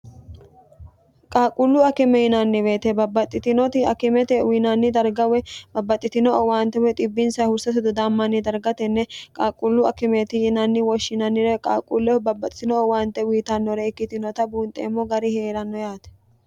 qaaqquullu akime yinanniweete babbaxxitinoti akimete uyiinanni dargawe babbaxxitino o waanteo bbins hursa dudammanni dargatenne qaaqquullu akimeti yinanni woshshinannire qaaqquullehu babbaxxitino o waante wiitannore ikkitinota buunxeemmo gari hee'ranno yaate